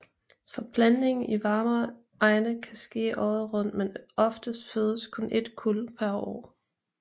Forplantningen i varmere egne kan ske året rundt men oftest fødes kun et kuld per år